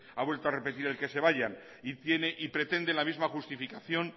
ha vuelto a repetir el que se vayan y tiene y pretende la misma justificación